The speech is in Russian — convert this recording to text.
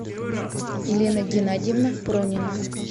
елена геннадьевна пронина